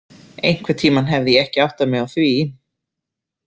Einhvern tímann hefði ég ekki áttað mig á því.